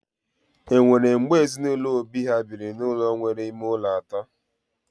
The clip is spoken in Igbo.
Enwere mgbe ezinụlọ Obi ha biri n'ụlọ nwere ime ụlọ atọ?